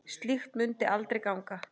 Slíkt mundi aldrei ganga.